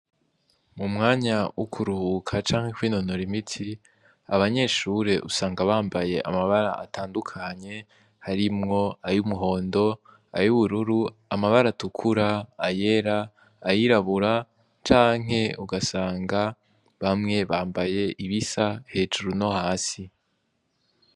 Mu mwanya w' ukuruhuka canke kwinonora imiti abanyeshure usanga bambaye amabara atandukanye harimwo ayo umuhondo ayo ubururu amabara atukura ayera ayirabura canke ugasanga bamwe bambaye ibisa hejuru no hasi.